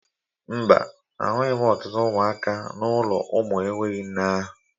Mba, ahụghị m ọtụtụ ụmụaka n'ụlọ ụmụ enweghi nne ahụ